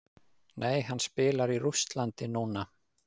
Nei hann spilar í Rússlandi núna.